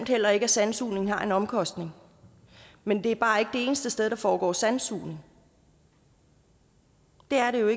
heller ikke at sandsugning har en omkostning men det er bare ikke eneste sted der foregår sandsugning det er